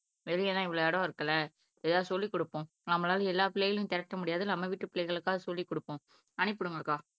வெளியேதான் இவ்வளவு இடம் இருக்குல்ல ஏதாவது சொல்லிக் கொடுப்போம் நம்மளால எல்லா பிள்ளைகளையும் திரட்ட முடியாது நம்ம வீட்டு பிள்ளைகளுக்காக சொல்லிக் கொடுப்போம் அனுப்பி விடுங்கக்கா